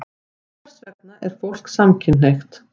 Hvers vegna er fólk samkynhneigt?